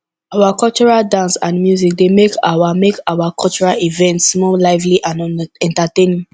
our traditional dance and music dey make our make our cultural events more lively and entertaining